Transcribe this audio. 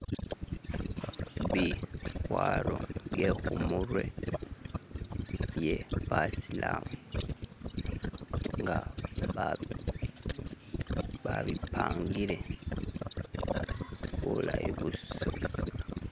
Bikwaro bye khumurwe bye basilamu nga babipangile bulayi busa.